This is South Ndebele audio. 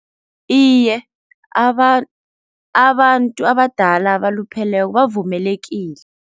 Iye abantu abadala abalupheleko bavumelekile.